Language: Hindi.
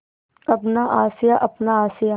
अपना आशियाँ अपना आशियाँ